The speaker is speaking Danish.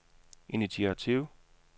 initiativ